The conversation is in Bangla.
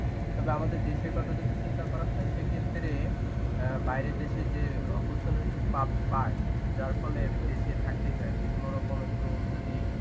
তবে আমাদের দেশের কথা যদি চিন্তা করা হয় সেক্ষেত্রে অ্যাঁ বাইরের দেশে যে opportunities পাব~ পায় যার ফলে দেশে থাকতেই চায় না. কোনরকম একটু যদি